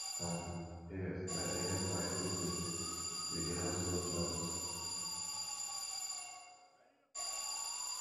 um yes i dey help my siblings with di household chores